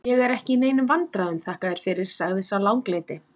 Ég er ekki í neinum vandræðum, þakka þér fyrir, sagði sá langleiti.